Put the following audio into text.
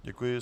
Děkuji.